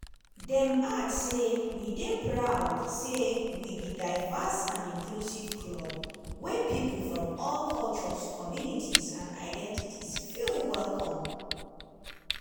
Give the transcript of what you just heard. dem add say: "we dey proud say we be diverse and inclusive club wia pipo from all cultures communities and identities feel welcome.